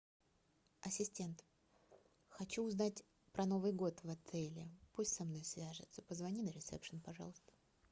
ассистент хочу узнать про новый год в отеле пусть со мной свяжутся позвони на ресепшн пожалуйста